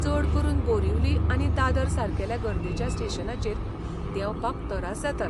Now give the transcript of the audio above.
चड करून बोरिवली आनी दादर सारकेल्या गर्देच्या स्टेशनांचेर देंवपाक तरास जातात.